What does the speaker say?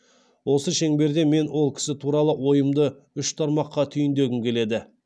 осы шеңберде мен ол кісі туралы ойымды үш тармақта түйіндегім келеді